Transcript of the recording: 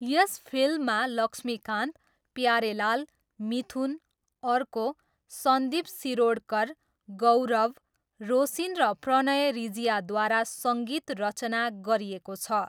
यस फिल्ममा लक्ष्मीकान्त, प्यारेलाल, मिथुन, अर्को, सन्दीप सिरोडकर, गौरभ, रोसिन र प्रणय रिजियाद्वारा सङ्गीत रचना गरिएको छ।